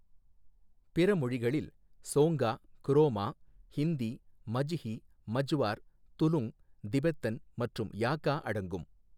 பிற மொழிகளில் ஸோங்கா, குரோமா, ஹிந்தி, மஜ்ஹி, மஜ்வார், துலுங், திபெத்தன் மற்றும் யாக்கா அடங்கும்.